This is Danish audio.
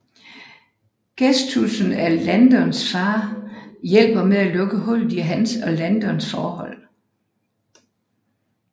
Gestussen af Landons far hjælper med at lukke hullet i hans og Landons forhold